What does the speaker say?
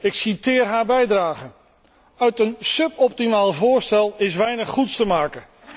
Ik citeer haar bijdrage Van een suboptimaal voorstel is weinig goeds te maken.